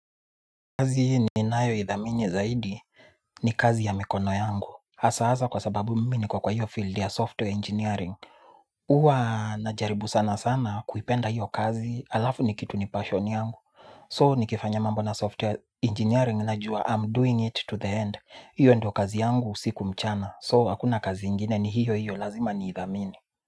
Kazi ninayoidhamini zaidi ni kazi ya mikono yangu. Hasa hasa kwa sababu mmi niko kwa hiyo field ya software engineering. Huwa najaribu sana sana kuipenda hiyo kazi halafu ni kitu ni passion yangu. So nikifanya mambo na software engineering na juwa I'm doing it to the end. Hiyo ndo kazi yangu usiku mchana. So hakuna kazi ingine ni hiyo hiyo lazima niidhamini.